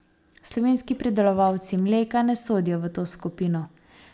Slovenski pridelovalci mleka ne sodijo v to skupino.